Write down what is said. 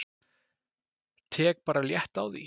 Tek bara létt á því.